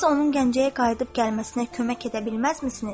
Siz onun Gəncəyə qayıdıb gəlməsinə kömək edə bilməzmisiniz?